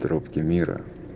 трубки мира